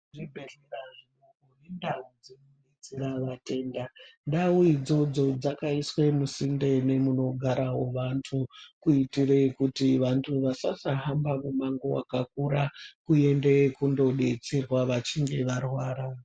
Muzvibhedhlera mune ndau dzinodetsera vatenda. Ndau idzodzo dzakaiswe musinde memunogarawo vantu kuitire kuti vantu vasasahamba mumango wakakura kuende kundobetserwa kana vachinge varwara.